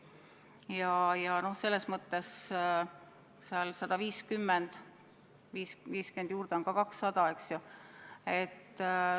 150-le 50 juurde panna, on ka 200, eks ju.